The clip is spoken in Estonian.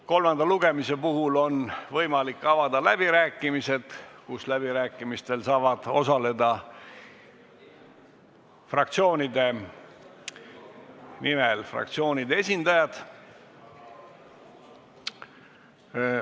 Kolmandal lugemisel on võimalik avada läbirääkimised, kus saavad fraktsioonide nimel osaleda fraktsioonide esindajad.